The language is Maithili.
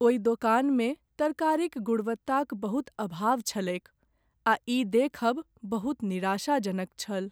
ओहि दोकान मे तरकारी क गुणवत्ता क बहुत अभाव छलैक आ ई देखब बहुत निराशा जनक छल।